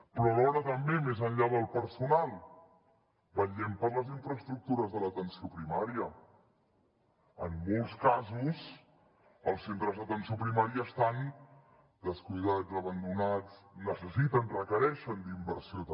però alhora també més enllà del personal vetllem per les infraestructures de l’atenció primària en molts casos els centres d’atenció primària estan descuidats abandonats necessiten requereixen inversió també